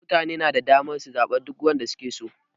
Mutane na da damar zaɓen duk wanda su ke so.